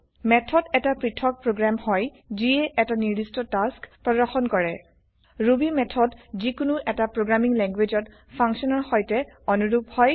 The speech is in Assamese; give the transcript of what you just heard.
মেথড এটা পৃথক প্ৰগ্ৰেম হয় যিয়ে এটা নিৰ্দষ্ট টাস্ক প্ৰৰ্দশন কৰে ৰুবি method160 যিকোনো এটা প্ৰগ্ৰামিং languageত ফাংচন ৰ সৈতে অনুৰূপ হয়